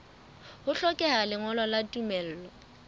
ho hlokeha lengolo la tumello